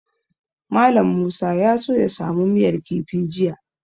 Mallam Musa ya so ya samu miyar kifi jiya.